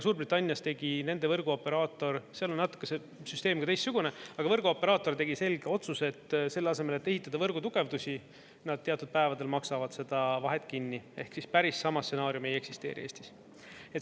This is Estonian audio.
Suurbritannias tegi nende võrguoperaator, seal on natuke see süsteem ka teistsugune, aga võrguoperaator tegi selge otsuse, et selle asemel, et ehitada võrgu tugevdused, nad teatud päevadel maksavad seda vahet kinni ehk siis päris sama stsenaariumi ei eksisteeri Eestis.